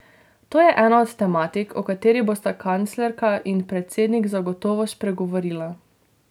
To je ena od tematik, o katerih bosta kanclerka in predsednik zagotovo spregovorila.